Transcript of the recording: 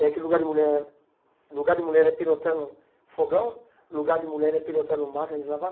É que lugar de mulher lugar de mulher é pilotando fogão, lugar de mulher é pilotando máquina de lavar?